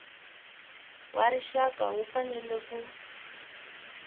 wa rixaka wu fanele ku